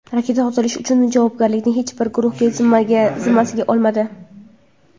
Raketa otilishi uchun javobgarlikni hech bir guruh zimmasiga olmadi.